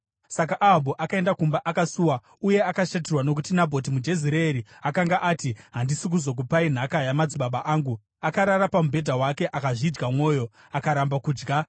Saka Ahabhu akaenda kumba akasuwa uye akashatirwa nokuti Nabhoti muJezireeri akanga ati, “Handisi kuzokupai nhaka yamadzibaba angu.” Akarara pamubhedha wake akazvidya mwoyo, akaramba kudya.